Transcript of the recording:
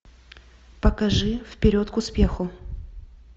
покажи вперед к успеху